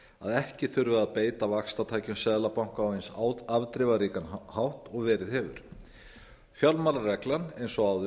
að ekki þurfi að beita vaxtatækjum seðlabankans á eins afdrifaríkan hátt og verið hefur fjármálareglan eins og áður